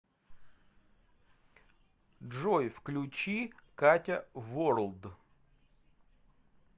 джой включи катя ворлд